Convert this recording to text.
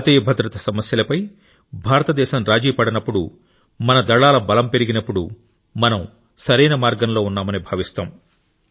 జాతీయ భద్రత సమస్యలపై భారతదేశం రాజీపడనప్పుడు మన దళాల బలం పెరిగినప్పుడు మనం సరైన మార్గంలో ఉన్నామని భావిస్తాం